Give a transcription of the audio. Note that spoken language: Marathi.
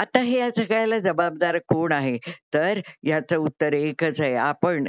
आता ह्या सगळ्याला जबाबदार कोण आहे. तर ह्याच उत्तर एकच आहे आपण